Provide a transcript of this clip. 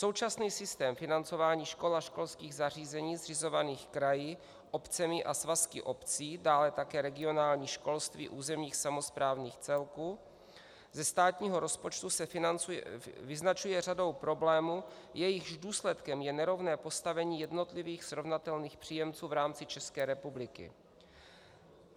Současný systém financování škol a školských zařízení zřizovaných kraji, obcemi a svazky obcí, dále také regionální školství územních samosprávních celků, ze státního rozpočtu se vyznačuje řadou problémů, jejichž důsledkem je nerovné postavení jednotlivých srovnatelných příjemců v rámci České republiky.